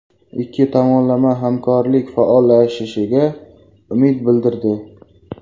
Ikki tomonlama hamkorlik faollashishiga umid bildirdi.